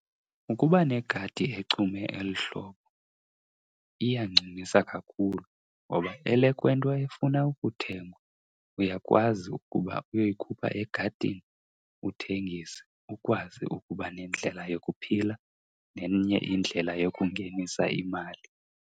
Ukuba negadi echume eli hlobo iyancumisa kakhulu ngoba elekwento efuna ukuthengwa uyakwazi ukuba uyoyikhupha egadini uthengise, ukwazi ukuba nendlela yokuphila nenye indlela yokungenisa imali.